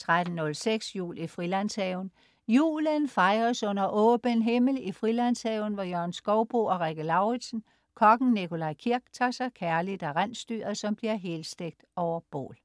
13.06 Jul i Frilandshaven. Julen fejres under åben himmel i Frilandshaven hos Jørgen Skouboe og Rikke Lauridsen. Kokken Nikolaj Kirk tager sig kærligt af rensdyret, som bliver helstegt over bål